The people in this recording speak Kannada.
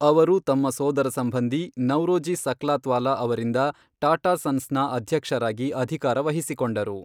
ಅವರು ತಮ್ಮ ಸೋದರಸಂಬಂಧಿ ನೌರೋಜಿ ಸಕ್ಲಾತ್ವಾಲಾ ಅವರಿಂದ ಟಾಟಾ ಸನ್ಸ್ನ ಅಧ್ಯಕ್ಷರಾಗಿ ಅಧಿಕಾರ ವಹಿಸಿಕೊಂಡರು.